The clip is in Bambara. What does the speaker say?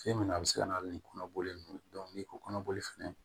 Fɛn min na a bɛ se ka na ni kɔnɔboli n'i ko kɔnɔboli fɛnɛ